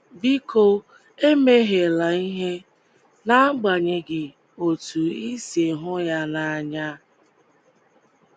Biko ,emehiela ihe, um n’agbanyeghị um otú ị um sị hụ ya n’anya! ”